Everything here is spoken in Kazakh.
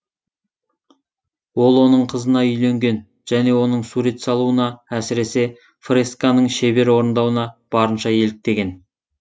ол оның қызына үйленген және оның сурет салуына әсіресе фресканың шебер орындауына барынша еліктеген